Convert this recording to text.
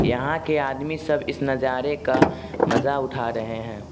यहां के आदमी सब इस नजारे का मजा उठा रहे हैं।